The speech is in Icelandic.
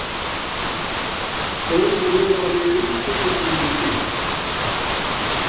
Þó rofaði einstöku sinnum til.